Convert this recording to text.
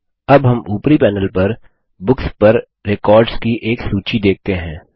अब हम ऊपरी पैनल पर बुक्स पर रेकॉर्ड्स की एक सूची देखते हैं